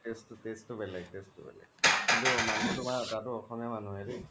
taste বেলেগ taste বেলেগ কিন্তু মানুহ তুমাৰ তাতো অসমীয়া মানুহে দেই